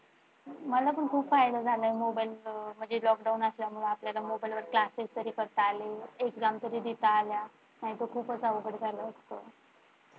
मला पण खूप फायदा झालाय त्याचा म्हणजे lockdown असल्यामुळे आपल्याला मोबाइल वरती अभ्यास तर करता आला Exam तरी देता आल्या नाहीतर खूपच अवघड झालं असत.